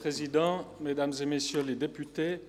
Dies ist Regierungsrat Schnegg.